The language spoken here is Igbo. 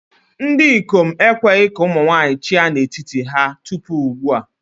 Ndị ikom ekweghị ka ụmụ nwanyị chịa n'etiti ha tupu ugbu a.